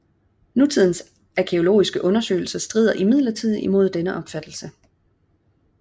Nutidens arkæologiske undersøgelser strider imidlertid imod denne opfattelse